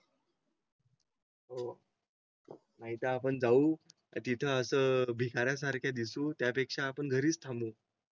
हो. नाहीत आपण जाऊ तिथं असं भिकाऱ्यासारखे दिसू. त्यापेक्षा आपण घरीच थांबून